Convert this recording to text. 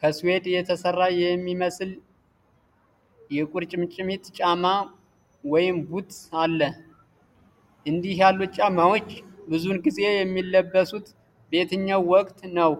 ከስዊድ የተሰራ የሚመስል የቁርጭምጭሚት ጫማ (ቡት) አለ፡፡ እንዲህ ያሉት ጫማዎች ብዙውን ጊዜ የሚለበሱት በየትኛው ወቅት ነው?